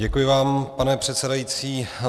Děkuji vám, pane předsedající.